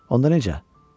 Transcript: Onda necə?